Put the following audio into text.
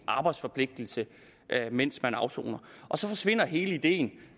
arbejdsforpligtelse mens man afsoner så forsvinder hele ideen